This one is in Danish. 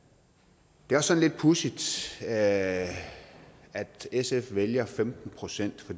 det er også sådan lidt pudsigt at sf vælger femten procent